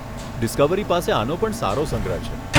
Discovery પાસે આનો પણ સારો સંગ્રહ છે.